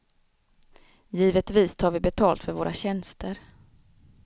Givetvis tar vi betalt för våra tjänster.